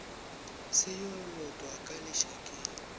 se yo lotwa ka lešakeng